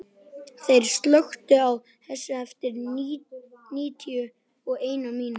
Þeyr, slökktu á þessu eftir níutíu og eina mínútur.